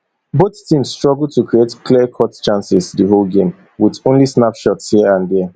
both teams struggle to create clearcut chances di whole game wit only snapshots hia and dia